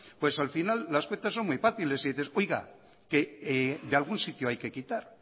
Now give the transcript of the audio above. pues al final las cuentas son muy fáciles y dices oiga que de algún sitio hay que quitar